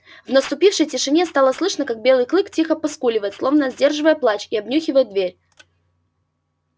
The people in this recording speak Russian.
в наступившей тишине стало слышно как белый клык тихо поскуливает словно сдерживая плач и обнюхивает дверь